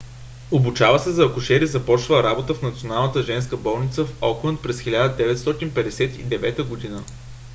обучава се за акушер и започва работа в националната женска болница в окланд през 1959 г